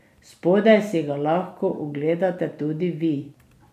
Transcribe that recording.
Spodaj si ga lahko ogledate tudi vi!